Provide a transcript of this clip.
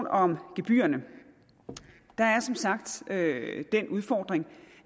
om gebyrerne der er som sagt den udfordring